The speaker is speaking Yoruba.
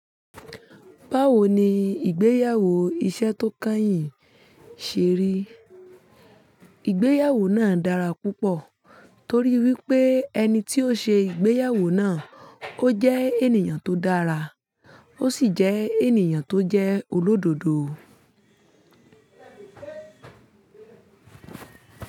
Báwo ni ìgbéyàwó iṣẹ́ tó kányìn ṣe rí? Ìgbéyàwó náà dára púpọ̀ torí wípé ẹni tí ó ṣe ìgbéyàwó náà ó jẹ́ ènìyàn tó dára ó sì jẹ́ ènìyàn tó jẹ́ olódodo.